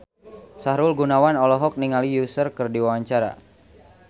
Sahrul Gunawan olohok ningali Usher keur diwawancara